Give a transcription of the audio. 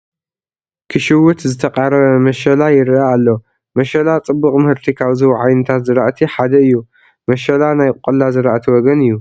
ክሽውት ዝተቓረበ መሸላ ይርአ ኣሎ፡፡ መሸላ ፅቡቕ ምህርቲ ካብ ዝህቡ ዓይነታት ዝራእቲ ሓደ እዩ፡፡ መሸላ ናይ ቆላ ዝራእቲ ወገን እዩ፡፡